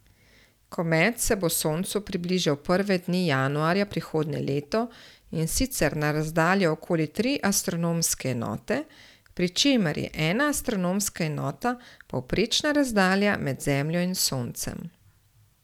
Komet se bo soncu približal prve dni januarja prihodnje leto in sicer na razdaljo okoli tri astronomske enote, pri čemer je ena astronomska enota povprečna razdalja med Zemljo in Soncem.